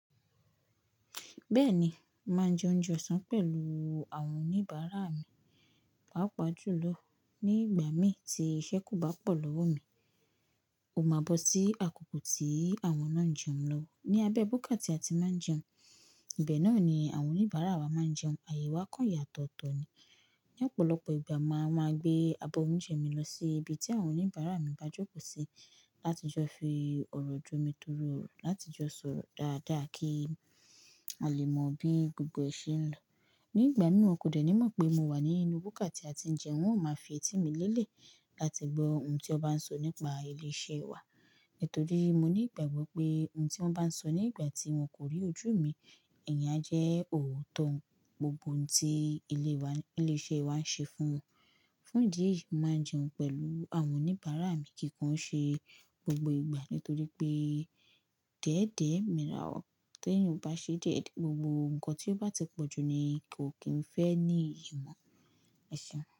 Bẹ́ẹ̀ni, màá ń jẹ oúnjẹ ọ̀sán pẹ̀lú àwọn oníbàárà mi. Pàápàá jùlọ ní ìgbà mi tí iṣẹ́ kò bá pọ̀ lọ́wọ́ mi. Ó máa bọ́ sí àkókò tí àwọn náà ń jẹun lọ́wọ́. Ni abẹ́ búkà tí a ti máa ń jẹun, ibẹ̀ náà ni àwọn oníbàárà wa máa ń jẹun. Àyè wa kàn yàtọ̀ tọ̀ ni. Ni ọ̀pọ̀lọpọ̀ ìgbà, màá máa gbé abọ́ oúnjẹ mi lọ sí ibi tí àwọn oníbàárà mi bá jókòó sí láti jọ fi ọ̀rọ̀ jo mi tọrọ ọ̀rọ̀, láti jọ sọ̀rọ̀ dáadáa kí a lè mọ bí gbogbo e ṣe ń lọ. Nígbà mìíràn wọn kò dẹ̀ ní mọ̀ pé mo wà ní inú búkà tí a ti ń jẹun, hun ó máa fi ẹ̀tẹ̀ mí lélẹ̀ láti gbọ ohun tí wọ́n bá ń sọ nípa ilé iṣẹ́ wa. Nítorí mo ní ìgbàgbọ́ pé ohun tí wọ́n bá ń sọ nígbà tí wọn kò rí ojú mi, ìyẹn a jẹ́ òótọ́. Ohun gbogbo tí ilé wa, ilé iṣẹ́ wa ń ṣe fún wọn. Fún ìdí èyí, mo màá ń jẹun pẹ̀lú àwọn oníbàárà mi kíkàn ṣe gbogbo ìgbà. Nítorí pé, déédé Mira o. Tí èèyàn o bá ṣe díẹ̀ díẹ̀, gbogbo ohun kan tí ó bá ti pọ̀ jù ni kò kí n fẹ́ ní ìyi mo ẹṣeun.